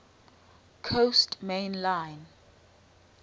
coast main line